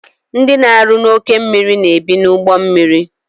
Ndị na-arụ n'oke mmiri na-ebi n' ime ugbommiri